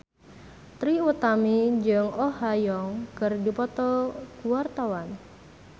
Trie Utami jeung Oh Ha Young keur dipoto ku wartawan